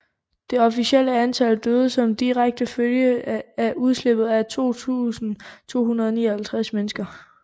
Det officielle antal døde som direkte følge af udslippet er 2259 mennesker